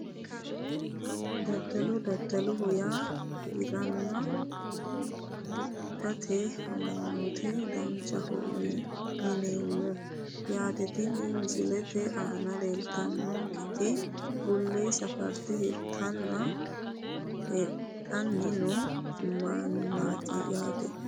Daddalo daddaloho yaa hiranna hidhate amanyoote daddaloho yineemmo yaate tini misilete aana leeltannonketi bulle safarte hirtanninna hidhanni noo mannaati yaate